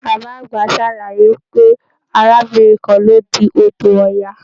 Bàbá àgbà sàlàyé pé arábìnrin kan ló di odò Ọya